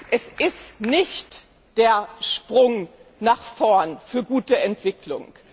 Es ist nicht der Sprung nach vorn für gute Entwicklung.